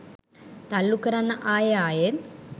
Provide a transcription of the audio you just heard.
තල්ලු කරන්න ආයෙ ආයෙත්